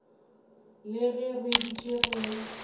le ge re dutše re